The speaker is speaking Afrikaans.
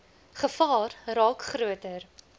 gevaar raak groter